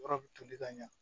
Yɔrɔ bi tobi ka ɲa